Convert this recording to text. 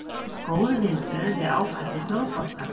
Góð viðbrögð við ákalli Blóðbankans